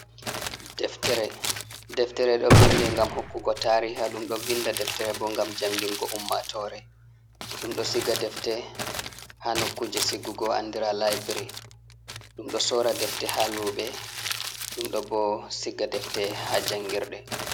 Deftere, deftere ɗo vinde ngam hokkugo tariha, ɗum ɗo vinnda deftere bo, ngam janngingo ummatoore, ɗum ɗo siga defte haa nokkuuje sigugo anndira laybiri, ɗum ɗo soora defte haa luuɓe, ɗum ɗo bo siga defte haa janngirɗe.